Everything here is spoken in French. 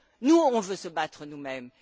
Nous, on veut se battre nous mêmes.